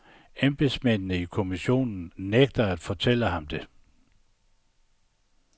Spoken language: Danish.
Embedsmændene i kommissionen nægter at fortælle ham det.